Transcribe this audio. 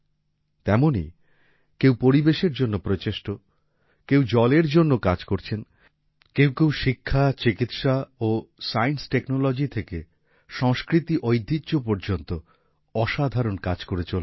তেমনই কেউ পরিবেশের জন্য প্রচেষ্ট কেউ জলের জন্য কাজ করছেন কেউ কেউ শিক্ষা চিকিৎসা ও সায়েন্স টেকনোলজি থেকে সংস্কৃতি ঐতিহ্য পর্যন্ত অসাধারণ কাজ করে চলেছেন